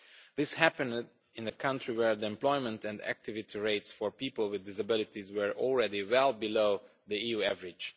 This happened in a country where the employment and activity rates for people with disabilities were already well below the EU average.